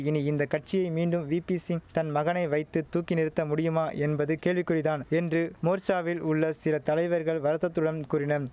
இனி இந்த கட்சியை மீண்டும் வீபிசிங் தன் மகனை வைத்து தூக்கி நிறுத்த முடியுமா என்பது கேள்விக்குறி தான் என்று மோர்ச்சாவில் உள்ள சில தலைவர்கள் வருத்தத்துடன் கூறினம்